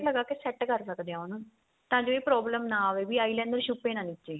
ਲਗਾਕੇ set ਕਰ ਸਕਦੇ ਆ ਉਹਨੂੰ ਤਾਂ ਜੋ ਇਹ problem ਨਾ ਆਵੇ ਵੀ eyeliner ਛੁਪੇ ਨਾ ਨੀਚੇ